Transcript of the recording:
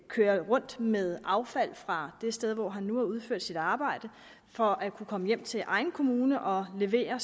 køre rundt med affald fra det sted hvor han nu har udført sit arbejde for at kunne komme hjem til egen kommune og aflevere